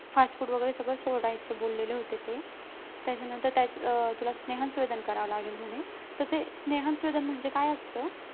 fast food वगैरे सगळं सोडायचं बोललेले होते ते त्याच्यानंतर काहीच अं तुला स्नेहन स्वेदन करावं लागेल म्हणे तर ते स्नेहन स्वेदन म्हणजे काय असतं